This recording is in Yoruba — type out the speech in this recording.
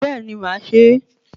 Bẹ́ẹ̀ni máà se e